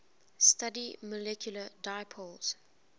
study molecular dipoles